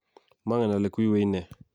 mangel ale kwywei nee